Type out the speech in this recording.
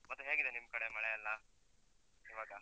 ಮತ್ತೆ ಹೇಗಿದೆ ನಿಮ್ ಕಡೆ ಮಳೆಯೆಲ್ಲ, ಇವಾಗ?